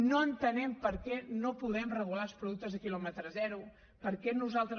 no entenem per què no podem regular els productes de quilòmetre zero per què nosaltres